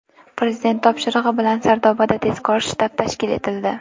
Prezident topshirig‘i bilan Sardobada tezkor shtab tashkil etildi.